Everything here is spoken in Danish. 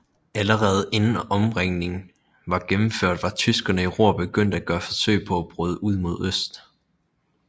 Allerede inden omringningen var gennemført var tyskerne i Ruhr begyndt at gøre forsøg på at bryde ud mod øst